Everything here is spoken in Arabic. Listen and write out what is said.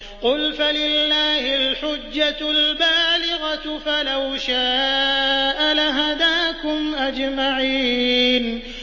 قُلْ فَلِلَّهِ الْحُجَّةُ الْبَالِغَةُ ۖ فَلَوْ شَاءَ لَهَدَاكُمْ أَجْمَعِينَ